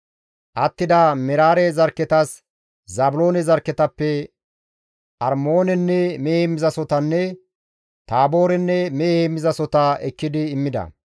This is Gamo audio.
Attida Meraare zarkketas Zaabiloone zarkketappe Armoonenne mehe heemmizasohotanne Taaboorenne mehe heemmizasohota ekkidi immida.